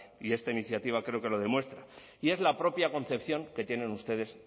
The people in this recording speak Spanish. y esta iniciativa creo que lo demuestra y es la propia concepción que tienen ustedes